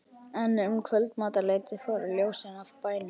En um kvöldmatarleytið fóru ljósin af bænum.